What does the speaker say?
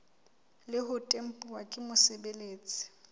le ho tempuwa ke mosebeletsi